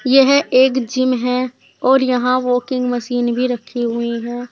यह एक जिम है और यहां वाकिंग मशीन भी रखी हुई है।